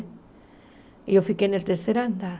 E eu fiquei no terceiro andar.